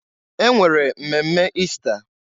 E nwere mmemme Ista.